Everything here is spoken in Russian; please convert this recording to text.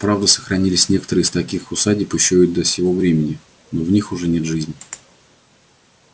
правда сохранились некоторые из таких усадеб ещё и до сего времени но в них уже нет жизни